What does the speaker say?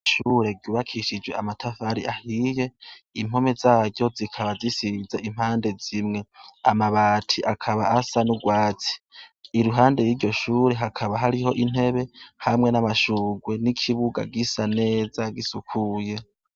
Ishure ryubakishijwe amatafari ahiye impome zayo zo zikaba zisize impande zimwe, amabati akaba asa n'urwatsi, iruhande yiryo shure hakaba hariho intebe hamwe n'amashugwe n'ikibuga gisa neza gisukuye.